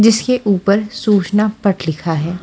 जिसके ऊपर सूचना पट लिखा है।